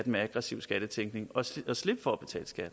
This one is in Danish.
med aggressiv skattetænkning og slippe for at betale skat